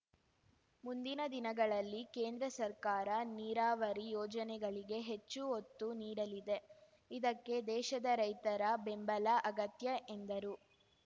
ಮುಂದಿನ ದಿನಗಳಲ್ಲಿ ಕೇಂದ್ರ ಸರ್ಕಾರ ನೀರಾವರಿ ಯೋಜನೆಗಳಿಗೆ ಹೆಚ್ಚು ಒತ್ತು ನೀಡಲಿದೆ ಇದಕ್ಕೆ ದೇಶದ ರೈತರ ಬೆಂಬಲ ಅಗತ್ಯ ಎಂದರು